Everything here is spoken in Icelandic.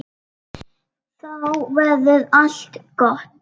Þá verður allt gott.